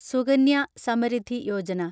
Sukanya Samriddhi Yojana